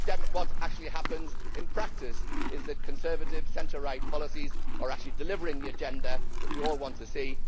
What happens in practice is that Conservative centre right policies are actually delivering the agenda that we all want to see.